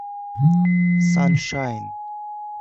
саншайн